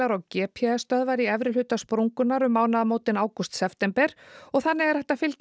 og g p s stöðvar í efri hluta sprungunnar um mánaðamótin ágúst september og þannig er hægt að fylgjast